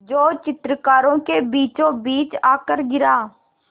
जो चित्रकारों के बीचोंबीच आकर गिरा